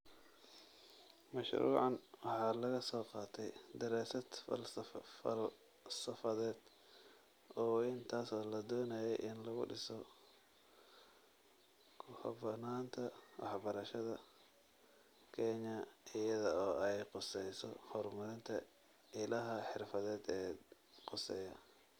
Mashruucan waxaa laga soo qaatay daraasad falsafadeed oo weyn taasoo la doonayey in lagu dhiso ku habboonaanta waxbarashada Kenya iyada oo ay khusayso horumarinta ilaha xirfadeed ee khuseeya.